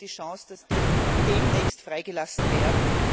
Sehen Sie die Chance, dass sie demnächst freigelassen werden?